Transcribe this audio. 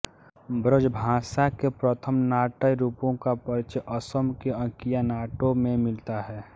ब्रजभाषा के प्रथम नाट्य रुपों का परिचय असम के अंकियानाटों में मिलता है